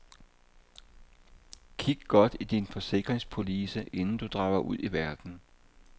Kig godt i din forsikringspolice inden du drager ud i verden.